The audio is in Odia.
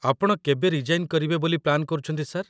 ଆପଣ କେବେ ରିଜାଇନ୍ କରିବେ ବୋଲି ପ୍ଲାନ୍ କରୁଛନ୍ତି, ସାର୍ ?